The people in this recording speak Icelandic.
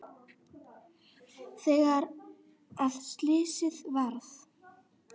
Þegar að slysið varð?